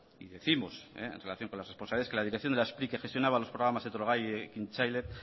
y décimos en relación con las responsabilidades que la dirección de la spri que gestionaba los programas etorgai y ekintzaile